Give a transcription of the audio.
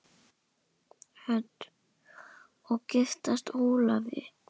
Hödd: Og giftast Ólafi?